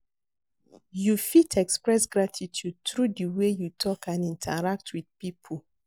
You fit express gratitude through di way you talk and interact with people.